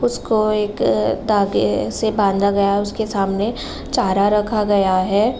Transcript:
उसको एक धागे से बांधा गया है। उसके सामने चारा रखा गया है।